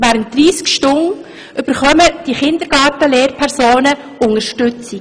Während 30 Stunden bekommen die Kindergarten-Lehrpersonen Unterstützung.